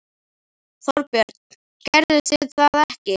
Þorbjörn: Gerðuð þið það ekki?